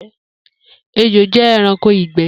Ejo jẹ ẹranko igbẹ.